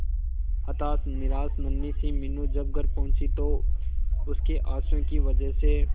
हताश निराश नन्ही सी मीनू जब घर पहुंची तो उसके आंसुओं की वजह से